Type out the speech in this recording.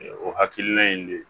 O hakilina in de